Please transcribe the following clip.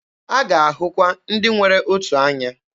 A ga-ahụkwa ndị nwere otu anya.